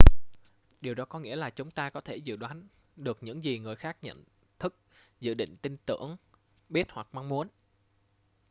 điều đó có nghĩa là chúng ta có thể dự đoán được những gì người khác nhận thức dự định tin tưởng biết hoặc mong muốn